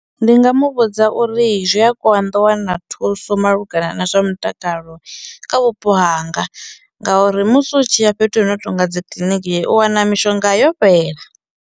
Ndi nga mu vhudza uri i zwi a konḓa u wana thuso malugana na zwa mutakalo kha vhupo hanga ngauri musi u tshi ya fhethu hu no tonga dzi kiḽiniki u wana mishonga yo fhela.